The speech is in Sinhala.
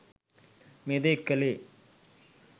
මේ දේ කළේ.